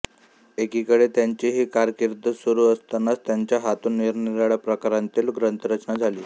एकीकडे त्यांची ही कारकीर्द सुरू असतानाच त्यांच्या हातून निरनिराळ्या प्रकारांतली ग्रंथरचना झाली